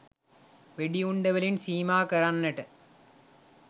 වෙඩි උණ්ඩවලින් සීමා කරන්නට